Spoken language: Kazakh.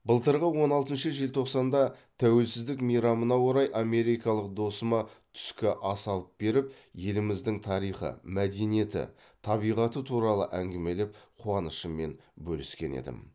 былтырғы он алтыншы желтоқсанда тәуелсіздік мейрамына орай америкалық досыма түскі ас алып беріп еліміздің тарихы мәдениеті табиғаты туралы әңгімелеп қуанышыммен бөліскен едім